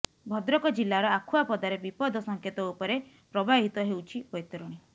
ଭଦ୍ରକ ଜିଲ୍ଲାର ଆଖୁଆପଦାରେ ବିପଦ ସଙ୍କେତ ଉପରେ ପ୍ରବାହିତ ହେଉଛି ବୈତରଣୀ